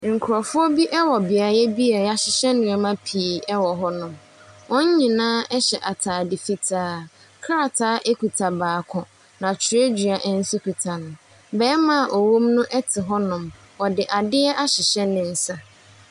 Nkorɔfoɔ bi ɛwɔ beayɛ bi a yahyehyɛ nnoɔma pii wɔ hɔnom, wɔn nyinaa ɛhyɛ ataade fitaa. Krataa ekita baako, na twerɛdua nso kuta no. Bɛɛma a ɔwɔ mu no ɛte hɔnom, ɔde adeɛ ahyehyɛ ne nsa.